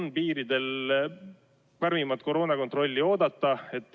Kas piiridel on oodata karmimat koroonakontrolli?